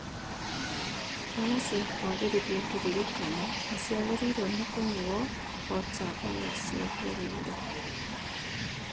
Ndawa cia kwagĩrithia kĩririkano ciagĩrĩirwo nĩ kũnyuo ta ũrĩa ciathĩrĩirwo